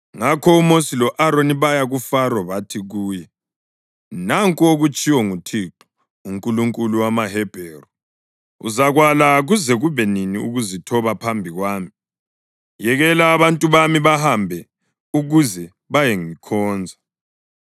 Ngakho oMosi lo-Aroni baya kuFaro bathi kuye, “Nanku okutshiwo nguThixo, uNkulunkulu wamaHebheru: ‘Uzakwala kuze kube nini ukuzithoba phambi kwami? Yekela abantu bami bahambe ukuze bayengikhonza.